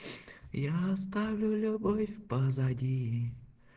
я оставлю любовь позади